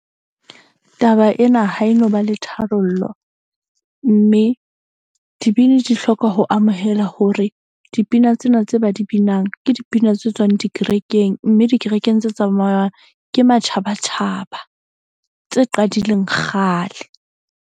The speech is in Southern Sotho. Taba ena ha e no ba le tharollo. Mme dibini di hloka ho amohela hore dipina tsena tse ba di binang ke dipina tse tswang dikerekeng. Mme dikerekeng tse tsamayang ke matjhabatjhaba tse qadileng kgale.